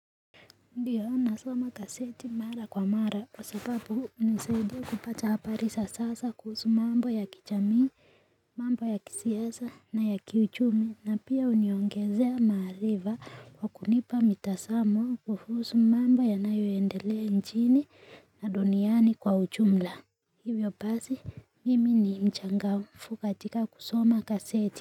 Ndiyo nasoma gaseti mara kwa mara kwa sababu unisaidia kupata habari za sasa kuhusu mambo ya kichamii, mambo ya kisiasa na ya kiuchumi na pia uniongezea mahaaliva kwa kunipa mitasamo kuhusu mambo yanayoendelea nchini na duniani kwa ujumla. Hivyo basi, mimi ni mchangafu katika kusoma gaseti.